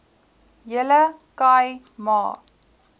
hele khai ma